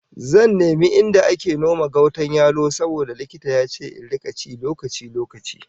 Zan nemi inda ake noma gautan yalo saboda likita ya ce in rika ci lokaci-lokaci